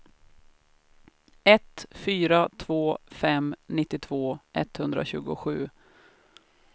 ett fyra två fem nittiotvå etthundratjugosju